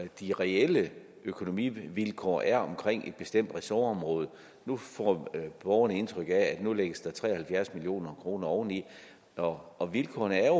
de reelle økonomivilkår er omkring et bestemt ressortområde nu får borgerne indtryk af at nu lægges tre og halvfjerds million kroner oveni og og vilkårene er